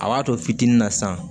A b'a to fitinin na san